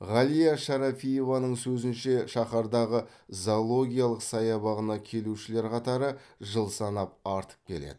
ғалия шарафиеваның сөзінше шаһардағы зоологиялық саябағына келушілер қатары жыл санап артып келеді